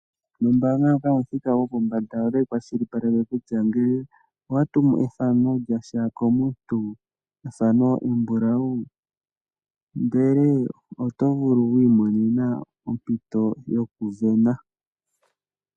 Ombaanga ndjoka yomuthika gwopombanda, otayi kwashilipaleke kutya ngele owa tumu ethano lyasha komuntu ethano embulawu oto vulu wiimonena ompito yokusindana.